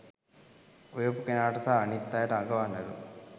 උයපු කෙනාට සහ අනිත් අයට අඟවන්නලු